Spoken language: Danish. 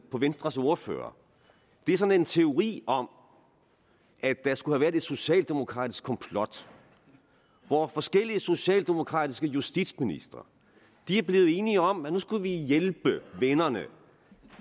på venstres ordfører er sådan en teori om at der skulle have været et socialdemokratisk komplot hvor forskellige socialdemokratiske justitsministre er blevet enige om at nu skulle de hjælpe vennerne